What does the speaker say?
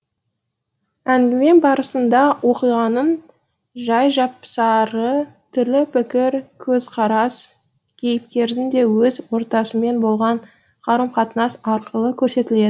әңгіме барысында оқиғаның жай жапсары түрлі пікір көзқарас кейіпкердің де өз ортасымен болған қарым қатынас арқылы көрсетіледі